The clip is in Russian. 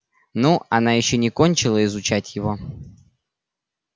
ну она ещё не кончила изучать его